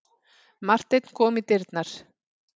Marteinn kom í dyrnar.